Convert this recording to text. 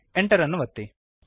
Enter ಅನ್ನು ಒತ್ತಿರಿ